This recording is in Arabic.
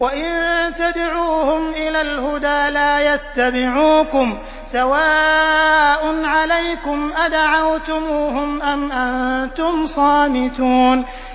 وَإِن تَدْعُوهُمْ إِلَى الْهُدَىٰ لَا يَتَّبِعُوكُمْ ۚ سَوَاءٌ عَلَيْكُمْ أَدَعَوْتُمُوهُمْ أَمْ أَنتُمْ صَامِتُونَ